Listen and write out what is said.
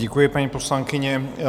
Děkuji, paní poslankyně.